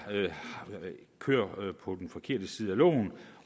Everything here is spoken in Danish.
kører på den forkerte side af loven